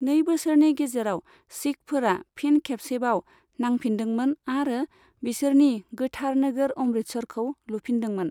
नै बोसोरनि गेजेराव, सिखफोरा फिन खेबसेबाव नांफिनदोंमोन आरो बिसोरनि गोथार नोगोर अमृतसरखौ लुफिनदोंमोन।